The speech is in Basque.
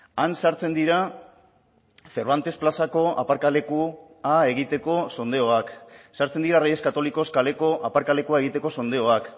han sartzen dira cervantes plazako aparkalekua egiteko sondeoak sartzen dira reyes católicos kaleko aparkalekua egiteko sondeoak